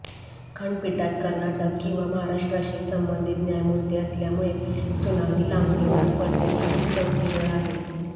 खंडपीठात कर्नाटक किंवा महाराष्ट्राशी संबंधित न्यायमूर्ती असल्यामुळे सुनावणी लांबणीवर पडण्याची ही चौथी वेळ आहे